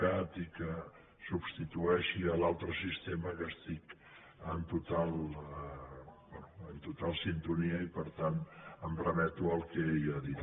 cat i que substitueixi l’altre sistema que hi estic en total sintonia i per tant em remeto al que ella ha dit